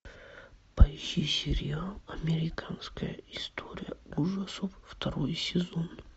поищи сериал американская история ужасов второй сезон